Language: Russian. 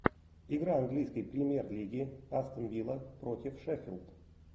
игра английской премьер лиги астон вилла против шеффилд